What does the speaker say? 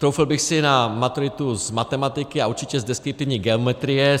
Troufl bych si na maturitu z matematiky a určitě z deskriptivní geometrie.